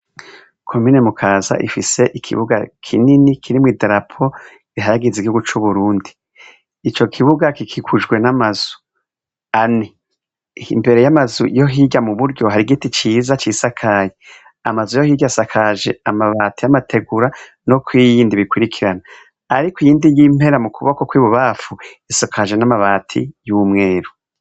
Komine Mukaza ifise ikibuga kinini kirimwo idarapo rihayagiza igihugu c'Uburundi, ico kibuga gikikujwe n'amazu ane, imbere y'amazu yo hirya mu buryo hari igiti ciza cisakaye, amazu yo hirya asakaje amabati y'amategura no kw'iyi yindi bikurikirana ariko iyindi y'impera mu kuboko kw'ibubamfu isakaje n'amabati y'umweru.